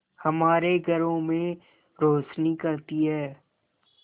हमारे घरों में रोशनी करती है